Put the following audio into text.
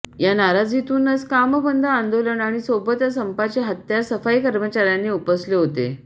या नाराजीतूनच कामबंद आंदोलन आणि सोबतच संपाचे हात्यार सफाई कर्मचाऱ्यांनी उपसले होते